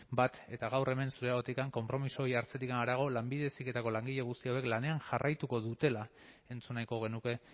bat eta gaur hemen zure ahotik konpromiso jartzetik harago lanbide heziketako langile guzti hauek lanean jarraituko dutela entzun nahiko genuke